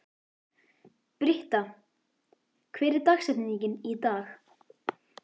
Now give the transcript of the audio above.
Britta, hver er dagsetningin í dag?